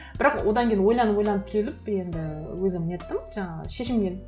бірақ одан кейін ойланып ойланып келіп енді өзім неттім жаңағы шешімге келдім